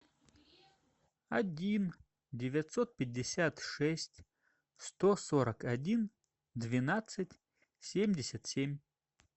один девятьсот пятьдесят шесть сто сорок один двенадцать семьдесят семь